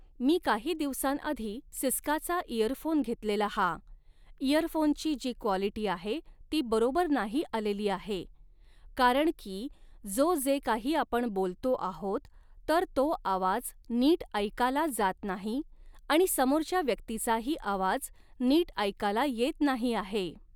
मी काही दिवसांआधी सिस्काचा इयरफोन घेतलेला हा, इअरफोनची जी क्वालिटी आहे ती बरोबर नाही आलेली आहे, कारण की जो जे काही आपण बोलतो आहोत तर तो आवाज नीट ऐकाला जात नाही आणि समोरच्या व्यक्तीचाही आवाज नीट ऐकाला येत नाही आहे